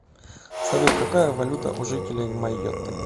салют какая валюта у жителей майотты